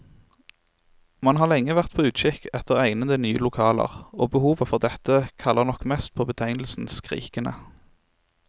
Man har lenge vært på utkikk etter egnede, nye lokaler, og behovet for dette kaller nok mest på betegnelsen skrikende.